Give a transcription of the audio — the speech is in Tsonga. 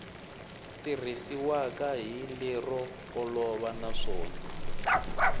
tirhisiwaka hi lero olova naswona